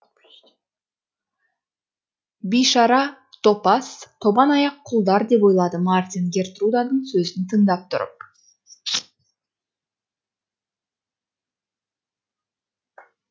бишара топас тобан аяқ құлдар деп ойлады мартин гертруданың сөзін тыңдап тұрып